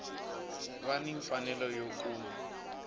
va ni mfanelo yo kuma